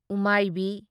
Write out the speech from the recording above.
ꯎꯃꯥꯢꯕꯤ